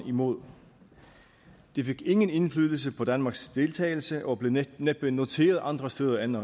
imod det fik ingen indflydelse på danmarks deltagelse og blev næppe næppe noteret andre steder end